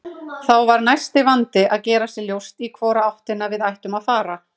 Þá var næsti vandi að gera sér ljóst í hvora áttina við ættum að fara.